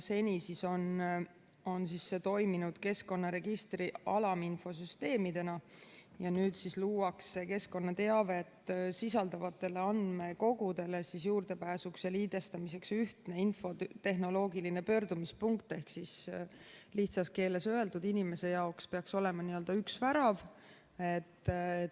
Seni on see toiminud keskkonnaregistri alaminfosüsteemidena ja nüüd luuakse keskkonnateavet sisaldavatele andmekogudele juurdepääsuks ja liidestamiseks ühtne infotehnoloogiline pöördumispunkt ehk lihtsas keeles öelduna peaks inimese jaoks olema n-ö üks värav.